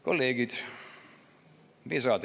Kolleegid!